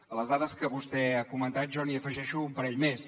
a les dades que vostè ha comentat jo n’hi afegeixo un parell més